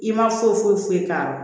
I ma foyi foyi foyi k'a la